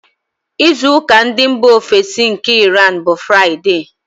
Izu ụka ndị mbà ofesi nke Iran, bụ Fraịde.